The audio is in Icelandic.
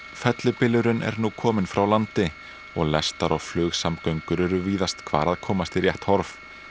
fellibylurinn er nú komin frá landi og lestar og flugsamgöngur eru víðast hvar að komast í rétt horf